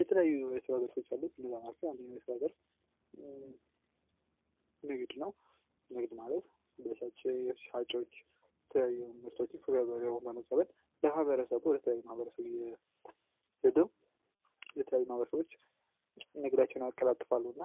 የተለያዩ የስራ ዘርፎች አሉ ከነዚያ መካከል አንደኛው የስራ ዘርፍ ንግድ ነው ንግድ ማለት የሚሸጡ ነገሮችን ከገበረው በመቀበል ለማህበረሰቡ ያቀርባሉ እና